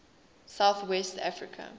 south west africa